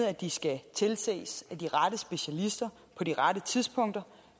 at de skal tilses af de rette specialister på de rette tidspunkter